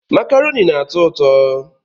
Makaroni na-atọ ụtọ